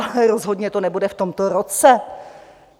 Ale rozhodně to nebude v tomto roce.